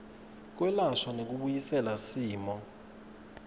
kwelashwa nekubuyisela similo